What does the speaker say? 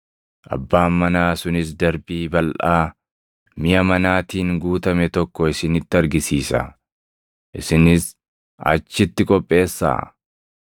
Abbaan manaa sunis darbii balʼaa miʼa manaatiin guutame tokko isinitti argisiisa. Isinis achitti qopheessaa.”